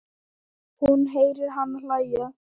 Hún heyrir hana hlæja.